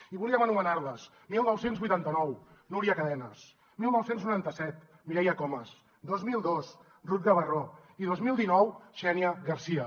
i volíem anomenar les dinou vuitanta nou núria cadenes dinou noranta set mireia comas dos mil dos ruth gabarró i dos mil dinou xènia garcia